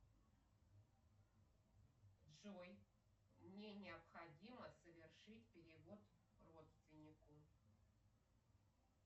джой мне необходимо совершить перевод родственнику